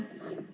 Aitäh!